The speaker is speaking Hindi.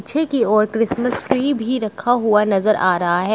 पीछे की ओर क्रिसमस ट्री भी रखा हुआ नजर आ रहा है।